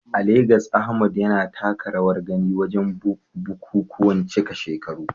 A Legas, Ahmad yana taka rawar gani wajen bukukuwan cika shekaru.